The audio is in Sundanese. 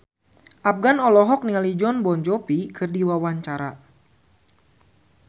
Afgan olohok ningali Jon Bon Jovi keur diwawancara